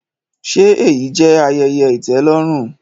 Ṣe eyi jẹ ayẹyẹ itẹlọrun?